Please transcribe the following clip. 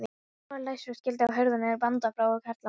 Dyrnar voru læstar og skilti á hurðinni bandaði frá karlmönnum.